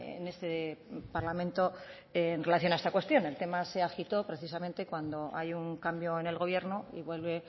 en este parlamento en relación a esta cuestión el tema se agitó precisamente cuando hay un cambio en el gobierno y vuelve